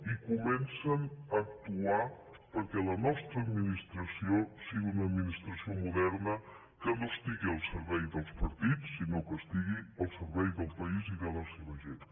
i comencen a actuar perquè la nostra administració sigui una administració moderna que no estigui al servei dels partits sinó que estigui al servei del país i de la seva gent